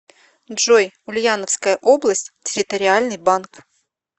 джой ульяновская область территориальный банк